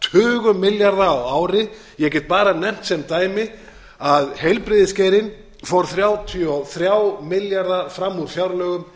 tugum milljarða á ári ég get bara nefnt sem dæmi að heilbrigðisgeirinn fór þrjátíu og þrjá milljarða fram úr fjárlögum